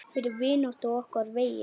Fyrir vináttu á okkar vegi.